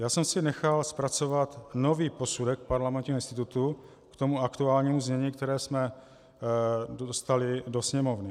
Já jsem si nechal zpracovat nový posudek Parlamentního institutu k tomu aktuálnímu znění, které jsme dostali do Sněmovny.